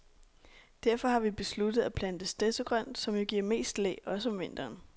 Derfor har vi besluttet at plante stedsegrønt, som jo giver mest læ, også om vinteren.